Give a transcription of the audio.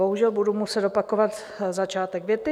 Bohužel budu muset opakovat začátek věty.